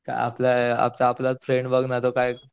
आपले आपले आपले फ्रेंड बघ ना तो काय